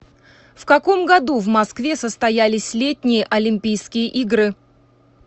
в каком году в москве состоялись летние олимпийские игры